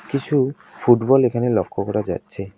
কিছু ফুটবল এখানে লক্ষ্য করা যাচ্ছে।